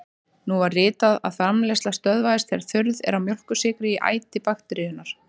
Nú var vitað að framleiðsla stöðvast þegar þurrð er á mjólkursykri í æti bakteríunnar.